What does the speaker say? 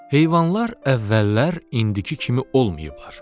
Heyvanlar əvvəllər indiki kimi olmayıblar.